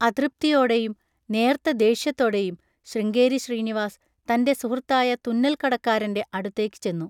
അതൃപ്തിയോടെയും നേർത്ത ദേഷ്യത്തോടെയും ശൃംഗേരി ശ്രീനിവാസ് തൻ്റെ സുഹൃത്തായ തുന്നൽകടക്കാരൻ്റെ അടുത്തേക്ക് ചെന്നു.